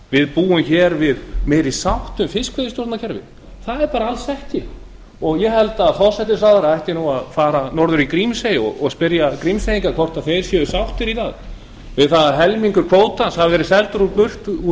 við búum hér við meiri sátt um fiskveiðistjórnarkerfið það er bara alls ekki svo ég held að forsætisráðherra ætti að fara norður í grímsey og spyrja grímseyinga hvort þeir séu sáttir við það í dag að helmingur kvótans hafi verið seldur burt úr